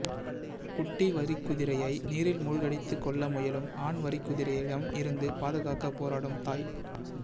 குட்டி வரிக்குதிரையை நீரில் மூழ்கடித்து கொல்ல முயலும் ஆண் வரிக்குதிரையிடம் இருந்து பாதுகாக்க போராடும் தாய்